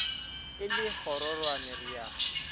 e le kgororwane re a